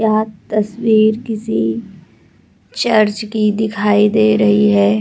यह तस्वीर किसी चर्च की दिखाई दे रही है।